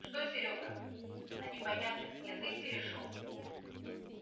что серёга на непонятных язык перешёл